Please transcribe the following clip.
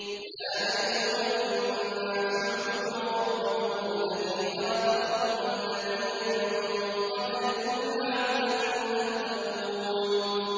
يَا أَيُّهَا النَّاسُ اعْبُدُوا رَبَّكُمُ الَّذِي خَلَقَكُمْ وَالَّذِينَ مِن قَبْلِكُمْ لَعَلَّكُمْ تَتَّقُونَ